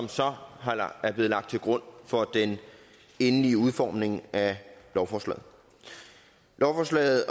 så blevet lagt til grund for den endelige udformning af lovforslaget lovforslaget